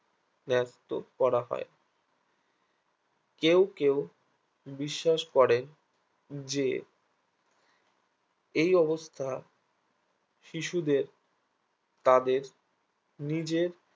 ব্যাক্ত করা হয় কেও কেও বিশ্বাস করে যে এই অবস্থা শিশুদের তাদের নিজের